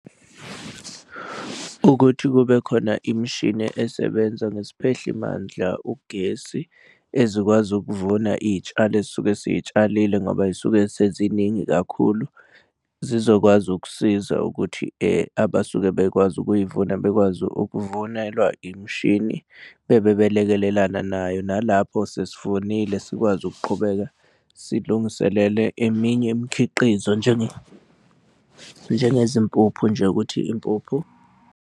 Ukuthi kube khona imishini esebenza ngesiphehli mandla ugesi ezikwazi ukuvuna iy'tshalo esuke siy'tshalile ngoba zisuke seziningi kakhulu zizokwazi ukusiza ukuthi abasuke bekwazi ukuy'vuna bekwazi ukuvunelwa imishini bebe belekelelana nayo nalapho sesivunile sikwazi ukuqhubeka silungiselele eminye imikhiqizo njengezimpuphu nje ukuthi impuphu.